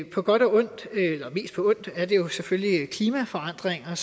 på godt og ondt eller mest på ondt er det jo selvfølgelig klimaforandringer